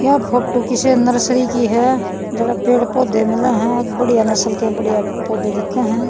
या फोटू किस्से नर्सरी की ह जड़ह पेड़ पौधे मिल्ह हं बढ़िया नस्ल के बढ़िया पौधे दिक्खह हं।